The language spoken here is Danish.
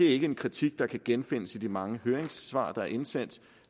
ikke en kritik der kan genfindes i de mange høringssvar der er indsendt